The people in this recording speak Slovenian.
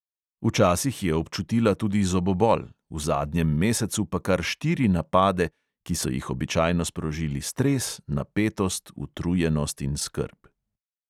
Včasih je občutila tudi zobobol, v zadnjem mesecu pa kar štiri napade, ki so jih običajno sprožili stres, napetost, utrujenost in skrb.